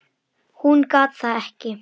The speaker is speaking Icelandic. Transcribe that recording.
Hún gat það ekki.